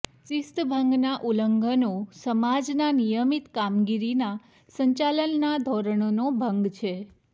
શિસ્તભંગના ઉલ્લંઘનો સમાજના નિયમિત કામગીરીના સંચાલનના ધોરણોનો ભંગ છે